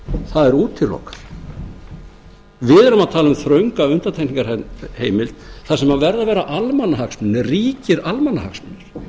það er útilokað við erum að tala um þrönga undantekningarheimild þar sem verða að vera almannahagsmunir ríkir almannahagsmunir